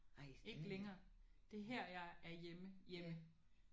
Ikke længere. Det er her jeg er hjemme hjemme